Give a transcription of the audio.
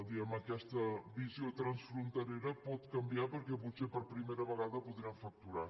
diguem ne aquesta visió transfronterera pot canviar perquè potser per primera vegada ho podrem facturar